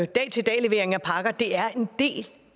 dag til dag levering af pakker og det er en del